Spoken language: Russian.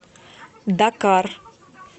дакар